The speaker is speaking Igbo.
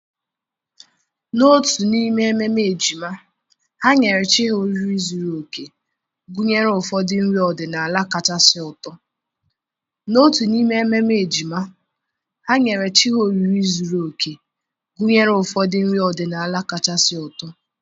n'otu n'ime ememe ejima, ha nyere chi ha oriri zuru oke, gụnyere ụfọdụ nri ọdịnala kachasị ụtọ.